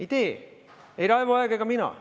Ei tee ei Raivo Aeg ega mina.